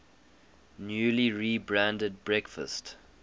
newly rebranded breakfast